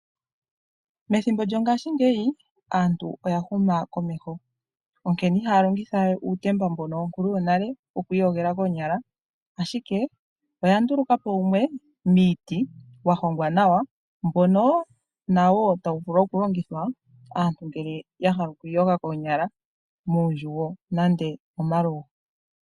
Methimbo lyongashingeyi aantu oya huma komeho. Onkene ihaya longithawe uutemba mbono wonkuluyonale wokwiiyogela koonyala, ashike oyandulukapo wumwe miiti wahongwa nawa mbono nawo tawu vulu okulongithwa aantu ngele ya hala okwiiyoga koonyala muundjugo nande momalugo.